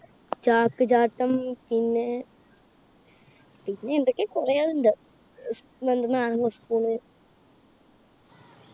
ചാക്ക് ചാട്ടം പിന്നെ പിന്നെ എന്തൊക്ക്യോ കുറെണ്ട്. നാരങ്ങ spoon ണ്